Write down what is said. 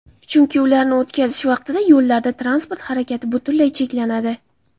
Chunki ularni o‘tkazish vaqtida yo‘llarda transport harakati butunlay cheklanadi.